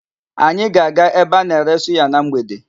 Anyị ga-aga ebe a na-ere suya na mgbede.